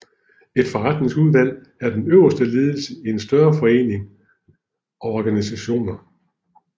Et forretningsudvalg er den øverste ledelse i større foreninger og organisationer